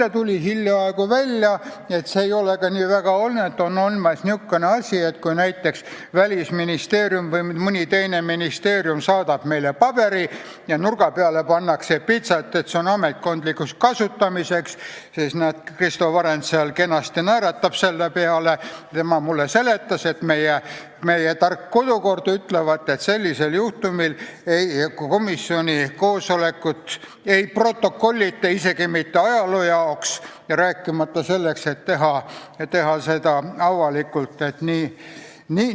Aga muide, hiljaaegu tuli välja, et see ei ole ka praegu tingimata nii, sest kui näiteks Välisministeerium või mõni teine ministeerium saadab meile paberi ja selle nurga peale pannakse pitser, et see on ametkondlikuks kasutamiseks, siis nagu põhiseaduskomisjoni nõunik Kristo Varend mulle seletas, meie tark kodukord ütlevat, et sellisel juhul komisjoni koosolekut ei protokollita isegi mitte ajaloo jaoks, rääkimata sellest, et teha protokoll avalikult kasutamiseks.